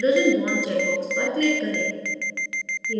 hydrogen bond check box पर click करें